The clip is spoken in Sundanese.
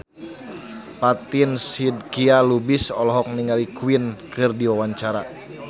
Fatin Shidqia Lubis olohok ningali Queen keur diwawancara